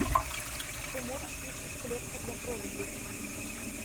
ты можешь включить клетка для кроликов